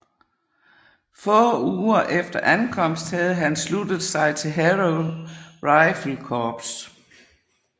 Få uger efter ankomst havde han sluttet sig til Harrow Rifle Corps